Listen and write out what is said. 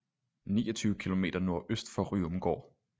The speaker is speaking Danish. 29 km nordøst for ryomgård